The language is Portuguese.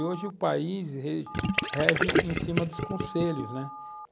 E hoje o país re rege em cima dos conselhos, né?